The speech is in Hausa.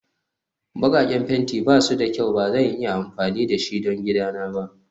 Bakaken fenti ba su da kyau Ba zan iya amfani da shi don gidana ba